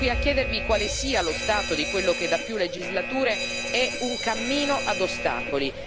Siamo qui a chiedervi quale sia lo stato di quello che da più legislature è un cammino ad ostacoli.